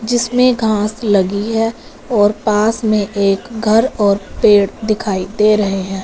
जिसमें घास लगी है और पास में एक घर और पेड़ दिखाई दे रहे हैं।